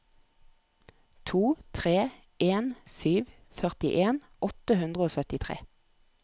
to tre en sju førtien åtte hundre og syttitre